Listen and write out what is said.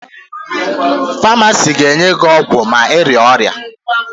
Famasị ga-nye gị ọgwụ ma ịrịa ahụ